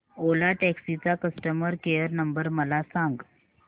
ओला taxi चा customer care number मला सांग